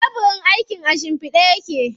Tebirin aikin a shimfiɗe yake.